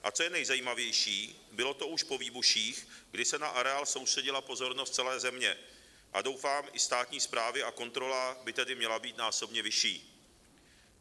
A co je nejzajímavější, bylo to už po výbuších, kdy se na areál soustředila pozornost celé země a doufám i státní správy, a kontrola by tedy měla být násobně vyšší.